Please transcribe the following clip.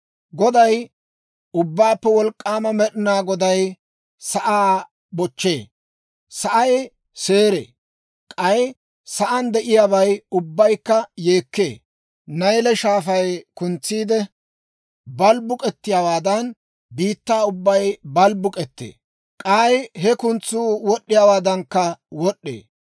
Goday, Ubbaappe Wolk'k'aama Med'inaa Goday sa'aa bochchee; sa'ay seeree; k'ay sa'aan de'iyaabay ubbaykka yeekkee. Nayle Shaafay kuntsiide balbbuk'ettiyaawaadan, biittaa ubbay balbbuk'ettee; k'ay he kuntsuu wod'd'iyaawaadankka wod'd'ee.